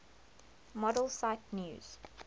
model cite news